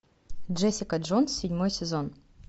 джессика джонс седьмой сезон